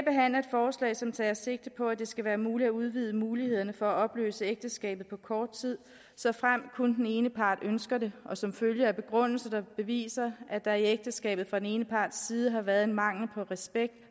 forslag som tager sigte på at det skal være muligt at udvide mulighederne for at opløse ægteskabet på kort tid såfremt kun den ene part ønsker det og som følge af en begrundelse der beviser at der i ægteskabet fra den ene parts side har været en mangel på respekt